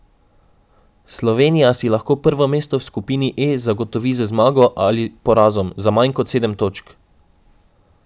Slovenija si lahko prvo mesto v skupini E zagotovi z zmago ali porazom za manj kot sedem točk.